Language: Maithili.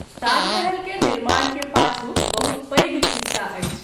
ताजमहल के निर्माण के पाछू बहुत पैघ खिस्सा अछि।